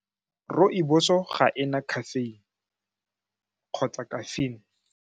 Rooibos-o ga e na khafeine kgotsa caffeine.